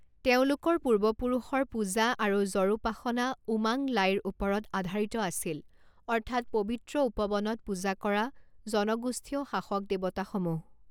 তেওঁলোকৰ পূৰ্বপুৰুষৰ পূজা আৰু জড়োপাসনা উমাং লাইৰ ওপৰত আধাৰিত আছিল অৰ্থাৎ পবিত্ৰ উপবনত পূজা কৰা জনগোষ্ঠীয় শাসক দেৱতাসমূহ।